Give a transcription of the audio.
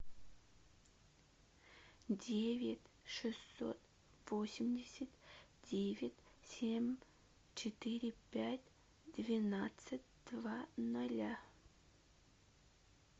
девять шестьсот восемьдесят девять семь четыре пять двенадцать два ноля